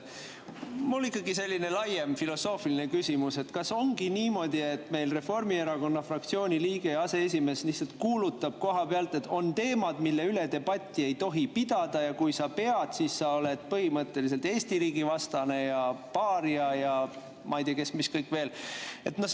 Mul on ikkagi selline laiem filosoofiline küsimus: kas ongi niimoodi, et Reformierakonna fraktsiooni liige ja aseesimees lihtsalt kuulutab kohapealt, et on teemad, mille üle debatti ei tohi pidada, ja kui sa pead, siis sa oled põhimõtteliselt Eesti riigi vastane ja paaria ja ma ei tea, mis kõik veel?